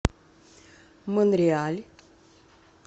монреаль